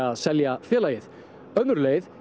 að selja félagið önnur leið